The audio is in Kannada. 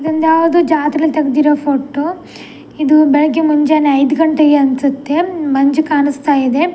ಇದೊಂದು ಯಾವ್ದೋ ಜಾತ್ರೆಯಲ್ಲಿ ತೆಗ್ದಿರೋ ಫೋಟೋ ಇದು ಬೆಳಗ್ಗೆ ಮುಂಜಾನೆ ಐದು ಘಂಟೆಗೆ ಅನ್ಸುತ್ತೆ ಮಂಜು ಕಾಣಿಸ್ತಾ ಇದೆ.